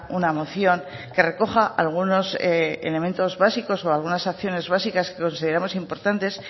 una moción que recoja algunos elementos básicos o algunas acciones básicas que consideramos importantes